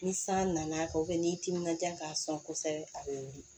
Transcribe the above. Ni san nana ni timinan diya k'a sɔn kosɛbɛ a bɛ wili